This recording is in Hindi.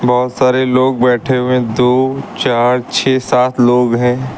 बहुत सारे लोग बैठे हुए हैं दो चार छह सात लोग हैं।